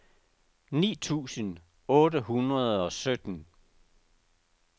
ni tusind otte hundrede og sytten